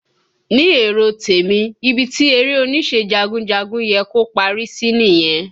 Ní èrò tèmi, ibi tí eré onísẹ́ jagunjagun yẹ kó parí sí nìyẹn